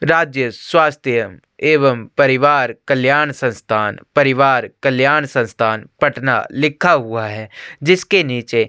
राज्य स्वास्थ्य एवं परिवार कल्याण संस्थान परिवार कल्याण संस्थान पटना लिखा हुआ हैं जिसके निचे--